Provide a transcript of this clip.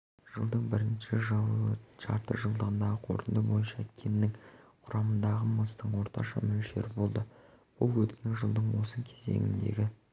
жылдың бірінші жартыжылдығындағы қорытынды бойынша кеннің құрамындағы мыстың орташа мөлшері болды бұл өткен жылдың осы кезеңіндегі